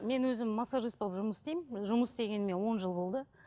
мен өзім массажист болып жұмыс істеймін жұмыс істегеніме он жыл болды